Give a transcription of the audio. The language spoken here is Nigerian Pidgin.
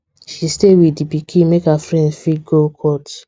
she stay with the pikin make her friend fit go court